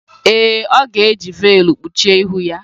Ee, ọ ga-eji veelụ kpuchie ihu ya.